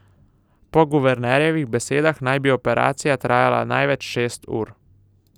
Po guvernerjevih besedah naj bi operacija trajala največ šest ur.